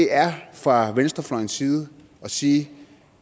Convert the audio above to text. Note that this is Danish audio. er fra venstrefløjens side at sige